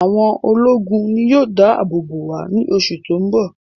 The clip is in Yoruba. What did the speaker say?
Àwọn ológun ni yóò dá àbò bò wá ní oṣù tó ń bọ̀